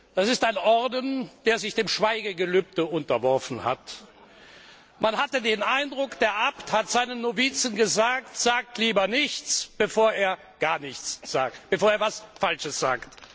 Das ist ein Orden, der sich dem Schweigegelübde unterworfen hat. Man hatte den Eindruck, der Abt hätte seinen Novizen gesagt Sagt lieber nichts, bevor ihr etwas Falsches sagt!